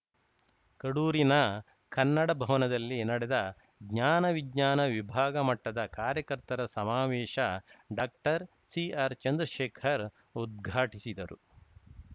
ಕಡೂರಿನ ಕನ್ನಡ ಭವನದಲ್ಲಿ ನಡೆದ ಜ್ಞಾನ ವಿಜ್ಞಾನ ವಿಭಾಗ ಮಟ್ಟದ ಕಾರ್ಯಕರ್ತರ ಸಮಾವೇಶ ಡಾಕ್ಟರ್ ಸಿಆರ್‌ ಚಂದ್ರಶೇಖರ್‌ ಉದ್ಘಾಟಿಸಿದರು